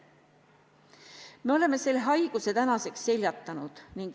Me oleme selle haiguse tänaseks seljatanud.